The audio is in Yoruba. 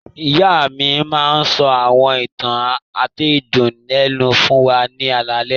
Ìyá mi máa ń sọ àwọn ìtàn àtẹnudẹ́nu fún wa ní alaalẹ́.